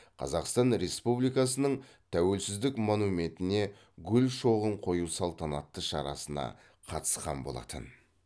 қазақстан республикасының тәуелсіздік монументіне гүл шоғын қою салтанатты шарасына қатысқан болатын